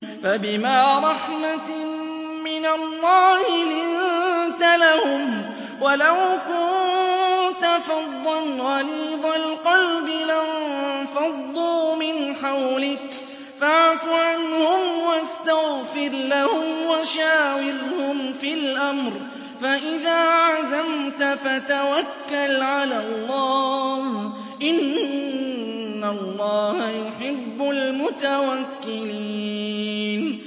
فَبِمَا رَحْمَةٍ مِّنَ اللَّهِ لِنتَ لَهُمْ ۖ وَلَوْ كُنتَ فَظًّا غَلِيظَ الْقَلْبِ لَانفَضُّوا مِنْ حَوْلِكَ ۖ فَاعْفُ عَنْهُمْ وَاسْتَغْفِرْ لَهُمْ وَشَاوِرْهُمْ فِي الْأَمْرِ ۖ فَإِذَا عَزَمْتَ فَتَوَكَّلْ عَلَى اللَّهِ ۚ إِنَّ اللَّهَ يُحِبُّ الْمُتَوَكِّلِينَ